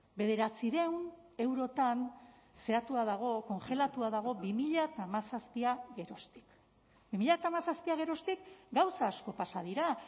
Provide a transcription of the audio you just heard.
bederatziehun eurotan zehatua dago kongelatua dago bi mila hamazazpia geroztik bi mila hamazazpia geroztik gauza asko pasa dira